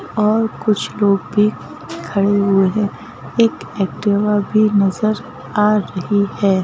और कुछ लोग भी खड़े हुए हैं एक एक्टिवा भी नजर आ रही है।